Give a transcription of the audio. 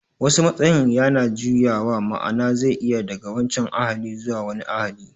Wasu matsayin yana juyawa, ma'ana zai iya daga wancan ahalin zuwa wani ahali